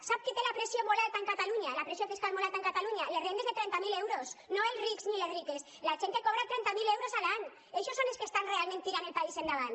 sap qui té la pressió fiscal molt alta en catalunya les rendes de trenta mil euros no els rics ni les riques la gent que cobra trenta mil euros a l’any eixos són els que estan realment tirant el país endavant